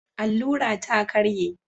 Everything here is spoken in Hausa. Allura ta ƙarye